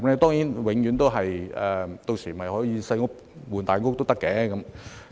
當然，屆時市民可以"細屋換大屋"。